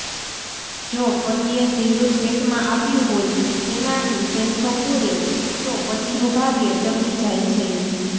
જો પતિએ સિંદુર ભેટમાં આપ્યું હોય તેનાથી સેંથો પૂરે તો પતિનું ભાગ્ય ચમકી જાય છે